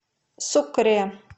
сукре